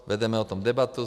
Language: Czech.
Vedeme o tom debatu.